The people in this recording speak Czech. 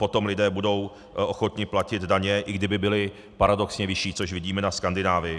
Potom lidé budou ochotni platit daně, i kdyby byly paradoxně vyšší, což vidíme na Skandinávii.